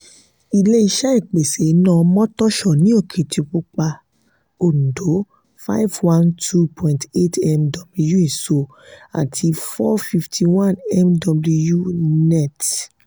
ilé-iṣé ìpèsè iná motosho ní okitipupa òndó five one two point eight mw iso àti four fifty one mw net